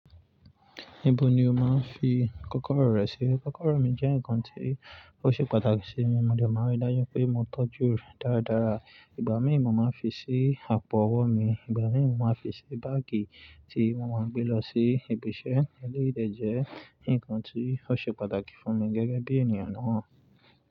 Níbo ni o máa ń fi kọ́kọ́rọ́ rẹ sí? Kọ́kọ́rọ́ mi jẹ́ nǹkan tí ó ṣe pàtàkì sí mi, mo dẹ̀ máa ń rí dájú pé mo tọ́jú rẹ̀ dáradára. Ìgbà míì mo máa ń fi sí àpò ọwọ́ mi, ìgbà míì mo máa ń fi sí báàgì tí mo máa ń gbé lọ sí ibiṣẹ́ eléyìí dẹ̀ jẹ́ nǹkan tí ó ṣe pàtàkì fún mi gẹ́gẹ́ bí ènìyàn náà.